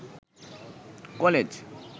college